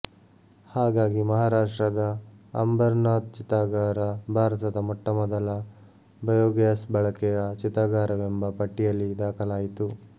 ಹಾಗಾಗಿ ಮಹಾರಾಷ್ಟ್ರದ ಅಂಬರ್ ನಾಥ್ ಚಿತಾಗಾರ ಭಾರತದ ಮೊಟ್ಟಮೊದಲ ಬೈಯೊಗ್ಯಾಸ್ ಬಳಕೆಯ ಚಿತಾಗಾರವೆಂಬ ಪಟ್ಟಿಯಲ್ಲಿ ದಾಖಲಾಯಿತು